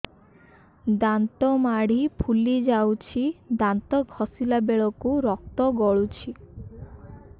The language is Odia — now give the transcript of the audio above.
ଦାନ୍ତ ମାଢ଼ୀ ଫୁଲି ଯାଉଛି ଦାନ୍ତ ଘଷିଲା ବେଳକୁ ରକ୍ତ ଗଳୁଛି